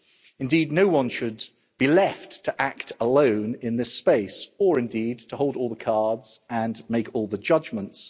Indeed, no one should be left to act alone in this space or indeed to hold all the cards and make all the judgments.